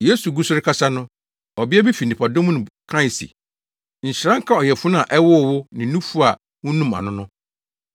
Yesu gu so rekasa no, ɔbea bi fi nnipadɔm no mu kae se, “Nhyira nka ɔyafunu a ɛwoo wo ne nufu a wunum ano no!”